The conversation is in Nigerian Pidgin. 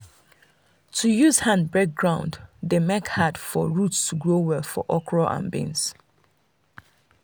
to use hand break ground dey make hard for root to grow well for okra and beans.